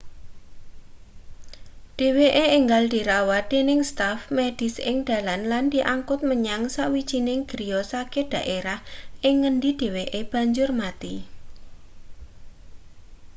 dheweke enggal dirawat dening staf medis ing dalan lan diangkut menyang sawijining griya sakit daerah ing ngendi dheweke banjur mati